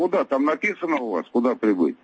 там написано куда